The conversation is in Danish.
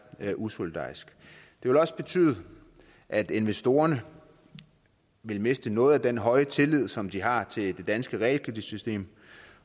er usolidarisk det vil også betyde at investorerne ville miste noget af den høje tillid som de har til det danske realkreditsystem